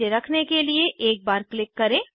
इसे रखने के लिए एक बार क्लिक करें